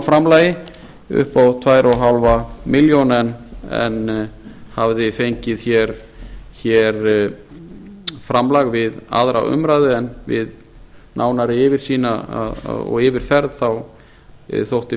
framlagi upp á tvö og hálfa milljón en hafði fengið framlag við aðra umræðu en við nánari yfirsýn og yfirferð þótti